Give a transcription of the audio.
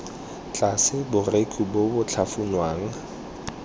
tlase borekhu bo bo tlhafunwang